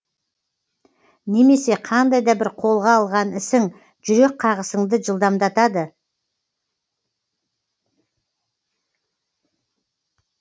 немесе қандай да бір қолға алған ісің жүрек қағысыңды жылдамдатады